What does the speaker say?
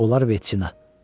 Onlar veçina.